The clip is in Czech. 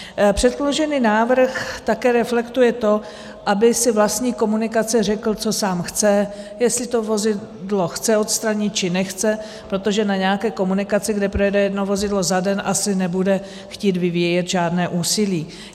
Předložený návrh také reflektuje to, aby si vlastník komunikace řekl, co sám chce, jestli to vozidlo chce odstranit, či nechce, protože na nějaké komunikaci, kde projede jedno vozidlo za den, asi nebude chtít vyvíjet žádné úsilí.